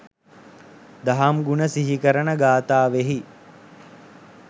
දහම් ගුණ සිහි කරන ගාථාවෙහි